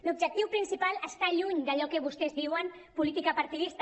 l’objectiu principal està lluny d’allò que vostès en diuen política partidista